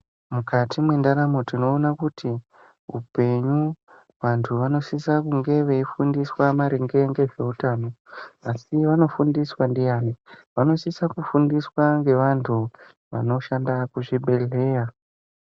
Mukati mendaramo tinowona kuti hupenyu vantu vanosisa kunge vefundiswa maringe nezvehutano. Asi, vanofundiswe ndiyani? Vanosise kufundiswe ngevantu vanoshanda kuzvibhedhleya.